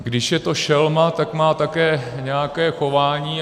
Když je to šelma, tak má také nějaké chování.